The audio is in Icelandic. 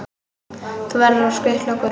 Þú verður að skutla okkur.